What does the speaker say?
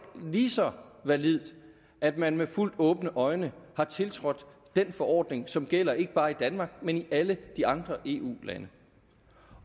lige så validt at man med fuldt åbne øjne har tiltrådt den forordning som gælder ikke bare i danmark men i alle eu lande